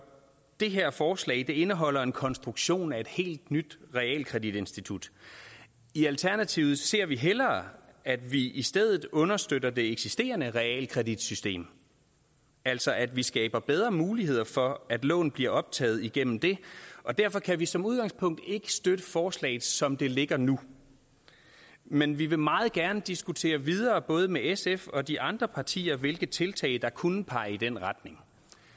det her forslag indeholder en konstruktion af et helt nyt realkreditinstitut i alternativet ser vi hellere at vi i stedet understøtter det eksisterende realkreditsystem altså at vi skaber bedre muligheder for at lån bliver optaget igennem det og derfor kan vi som udgangspunkt ikke støtte forslaget som det ligger nu men vi vil meget gerne diskutere videre både med sf og de andre partier hvilke tiltag der kunne pege i den retning